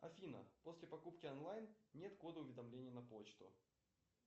афина после покупки онлайн нет кода уведомлений на почту